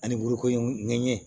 Ani burukoɲa ɲɛ